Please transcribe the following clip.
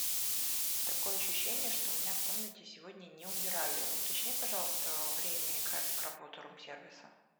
такое ощущение что у меня в комнате сегодня не убирали уточни пожалуйста время и график работы рум сервиса